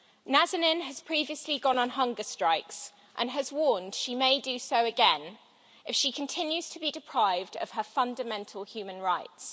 Nazanin has previously gone on hunger strikes and has warned she may do so again if she continues to be deprived of her fundamental human rights.